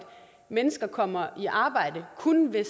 mennesker kommer i arbejde kun ved